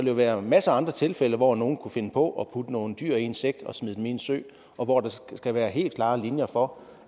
jo være masser af andre tilfælde hvor nogle kunne finde på at putte nogle dyr i en sæk og smide dem i en sø og hvor der skal være helt klare linjer for